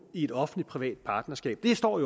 i et offentligt privat partnerskab det står